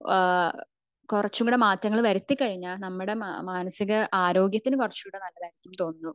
ഏഹ്ഹ് കുറച്ച കൂടെ മാറ്റങ്ങൾ വരുത്തി കഴിഞ്ഞ നമ്മുടെ മാനസിക ആരോഗ്യത്തിന് കുറച്ച്കൂടെ നല്ലതാണെന്ന് എനിക്ക് തോന്നുന്നു